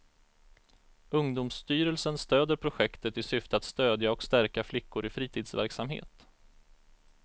Ungdomsstyrelsen stöder projektet i syfte att stödja och stärka flickor i fritidsverksamhet.